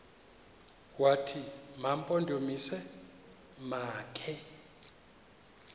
wathi mampondomise makhe